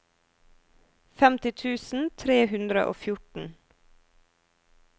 femti tusen tre hundre og fjorten